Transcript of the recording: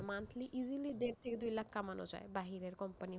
Monthly easily দেড় থেকে দুই লাখ কামানো যায়, বাহিরের company,